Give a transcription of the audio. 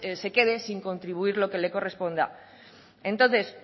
se quede sin contribuir lo que corresponda entonces